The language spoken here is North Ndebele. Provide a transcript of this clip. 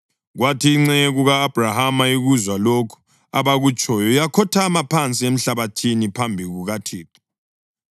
Kwathi inceku ka-Abhrahama ikuzwa lokhu abakutshoyo yakhothama phansi emhlabathini phambi kukaThixo.